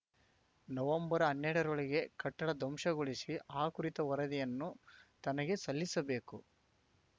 ನವಂಬರ್ಹನ್ನೆರಡರೊಳಗೆ ಕಟ್ಟಡ ಧ್ವಂಸಗೊಳಿಸಿ ಆ ಕುರಿತ ವರದಿಯನ್ನು ತನಗೆ ಸಲ್ಲಿಸಬೇಕು